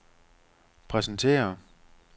præsentere